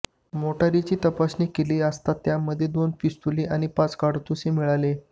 मोटारीची तपासणी केली असता त्यामध्ये दोन पिस्तूल आणि पाच काडतुसे मिळाले